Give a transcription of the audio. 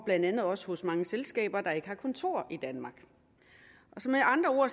blandt andet også hos mange selskaber der ikke har kontor i danmark så med andre ord